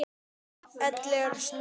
Ellegar Snorri?